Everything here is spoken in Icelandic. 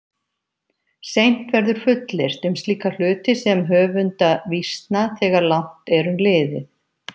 Seint verður fullyrt um slíka hluti sem höfunda vísna þegar langt er um liðið.